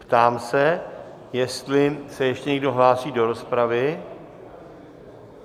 Ptám se, jestli se ještě někdo hlásí do rozpravy?